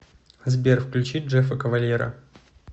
сбер включи джеффа кавальера